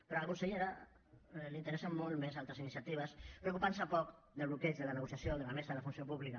perquè a la consellera li interessen molt més altres iniciatives i es preocupa poc del bloqueig de la negociació de la mesa de la funció pública